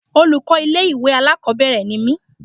Olùkọ́ ilé ìwé alákòbẹ̀rẹ̀ ni mí.